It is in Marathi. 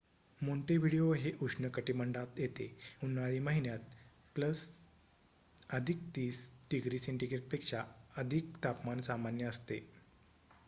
मोंटेव्हिडिओ हे उष्ण कटिबंधात येते उन्हाळी महिन्यात,+30°से. पेक्षा अधिक तापमान सामान्य असते